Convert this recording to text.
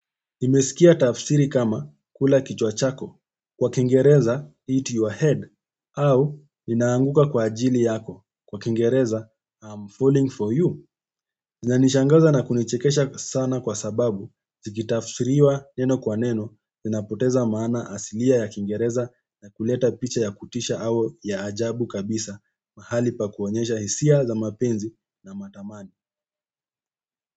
Nimesikia tafsiri kama kula kichwa chako, kwa kingereza, eat your head, au ninaanguka kwa ajili yako, kwa kingereza, I'm falling for you. Zina nishangaza na kunichikesha sana kwa sababu, zikitafsiriwa neno kwa neno, zina poteza maana asilia ya kingereza na kuleta picha ya kutisha au ya ajabu kabisa, mahali pa kuonyesha hisia za mapenzi na matamani.